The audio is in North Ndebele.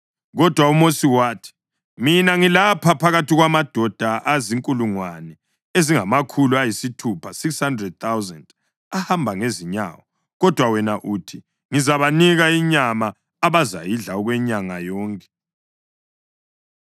Kodwa uMosi wathi, “Mina ngilapha phakathi kwamadoda azinkulungwane ezingamakhulu ayisithupha (600,000) ahamba ngezinyawo, kodwa wena uthi, ‘Ngizabanika inyama abazayidla okwenyanga yonke!’